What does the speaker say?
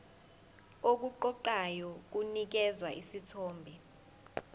okuqoqayo kunikeza isithombe